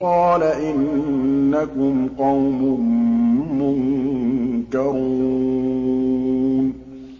قَالَ إِنَّكُمْ قَوْمٌ مُّنكَرُونَ